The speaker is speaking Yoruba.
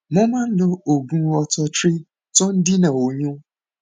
mo máa ń lo oògùn ortho tri tó ń dènà oyún